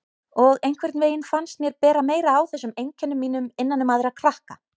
Og einhvern veginn fannst mér bera meira á þessum einkennum mínum innan um aðra krakka.